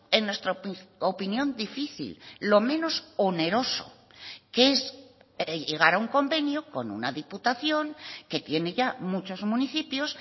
en nuestra opinión difícil lo menos oneroso que es llegar a un convenio con una diputación que tiene ya muchos municipios